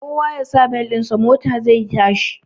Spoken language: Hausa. Kowa yasa bel ɗin sa mota zai yashi